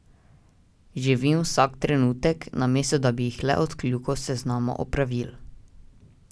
Živim vsak trenutek, namesto da bi jih le odkljukal s seznama opravil.